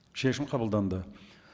шешім қабылданды